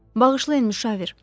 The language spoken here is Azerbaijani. Bağışlayın, müşavir.